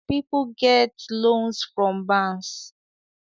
People get loans from bans